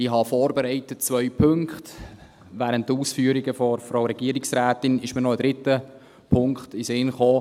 Ich habe zwei Punkte vorbereitet, und während den Ausführungen der Regierungsrätin ist mir noch ein dritter Punkt in den Sinn gekommen.